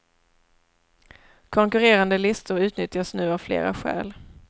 Konkurrerande listor utnyttjas nu av flera skäl.